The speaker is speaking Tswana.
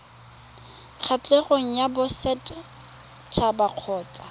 kgatlhegong ya boset haba kgotsa